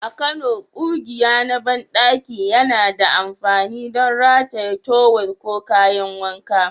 A Kano, ƙugiya na banɗaki yana da amfani don rataye tawul ko kayan wanka.